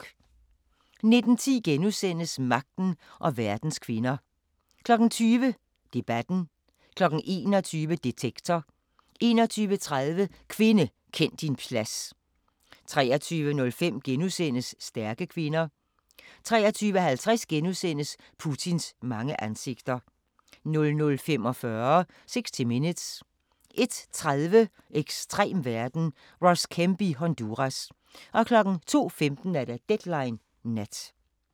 19:10: Magten og verdens kvinder * 20:00: Debatten 21:00: Detektor 21:30: Kvinde, kend din plads 23:05: Stærke kvinder * 23:50: Putins mange ansigter * 00:45: 60 Minutes 01:30: Ekstrem verden – Ross Kemp i Honduras 02:15: Deadline Nat